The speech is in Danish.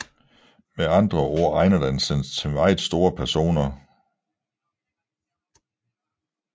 Med andre ord egner den sig til meget store personer